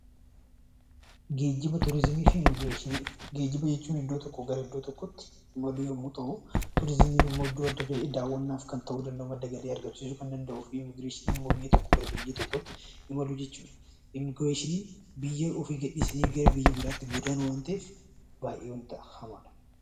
Geejjiba jechuun iddoo tokkoo gara iddoo tokkootti imaluu yommuu ta'u, turizimiin immoo iddoo adda ta'e daawwannaaf kan ta'uu kan danda'u, madda galii argamsiisuu kan danda'u fi Immigireeshiniin immoo biyya tokkoo gara biyya tokkootti imaluu jechuudha. Immigireeshiniin biyya ofii gadhiisanii gara biyya biraatti godaanuu waan ta'eef, baay'ee hamaadha.